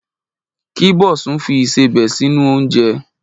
Kí Bosun fi ìsebẹ̀ sínú oúnjẹ.